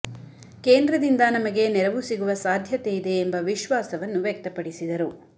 ಕೇಂದ್ರದಿಂದ ನಮಗೆ ನೆರವು ಸಿಗುವ ಸಾಧ್ಯತೆ ಇದೆ ಎಂಬ ವಿಶ್ವಾಸವನ್ನು ವ್ಯಕ್ತಪಡಿಸಿದರು